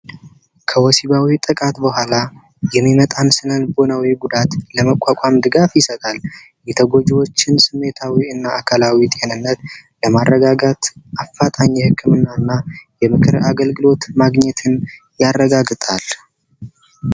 ከወሲባዊ ጥቃት በኋላ የሚመጣን ስነልቦናዊ ጉዳት ለመቋቋም ድጋፍ ይሰጣል። የተጎጂዎችን አካላዊ እና ስሜታዊ ጤንነት ለማረጋጋት አፋጣኝ የህክምና እና የምክር አገልግሎት ማግኘትን ያረጋግጣል።